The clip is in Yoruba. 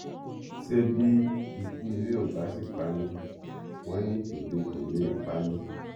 ṣé bí ikú ilé ò bá sì pa ni wọn ní tòde kó lè pa ni